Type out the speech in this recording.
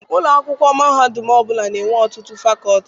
Ụlọ akwụkwọ mahadum ọbụla na-enwe ọtụtụ fakọọti.